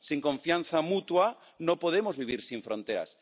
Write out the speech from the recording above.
Sin confianza mutua, no podemos vivir sin fronteras.